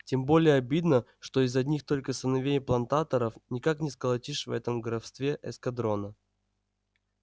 тем более обидно что из одних только сыновей плантаторов никак не сколотишь в этом графстве эскадрона